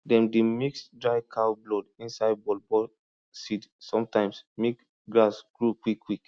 dem dey mix dry cow blood inside ballball seed sometimes mek grass grow quickquick